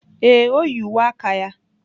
Ee, o yi uwe aka ya.